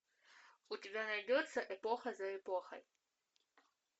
у тебя найдется эпоха за эпохой